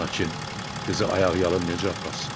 Lakin qızı ayaqyalın necə aparsın?